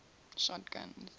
shotguns